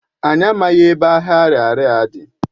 Anyị amaghị ebe ahịa Ariaria dị.